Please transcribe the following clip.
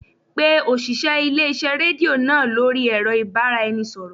Pa òṣìṣẹ́ ilé-iṣẹ́ rédíò náà lórí ẹ̀rọ ìbáraẹnisọ̀rọ̀